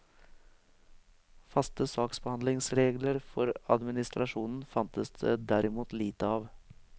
Faste saksbehandlingsregler for administrasjonen fantes det derimot lite av.